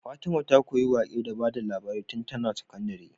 Fatima ta koyi waƙe da bada labari tun tAna sakandari